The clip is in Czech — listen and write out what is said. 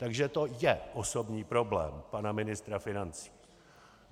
Takže to je osobní problém pana ministra financí.